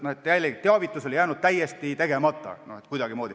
Jällegi oli teavitus jäänud täiesti tegemata.